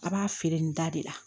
A b'a feere nin da de la